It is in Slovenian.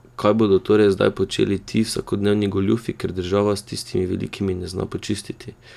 Kaj bodo torej zdaj počeli ti, vsakodnevni goljufi, ker država s tistimi velikimi ne zna počistiti?